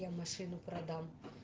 я машину продам